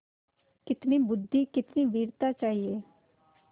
कितनी बुद्वि कितनी वीरता चाहिए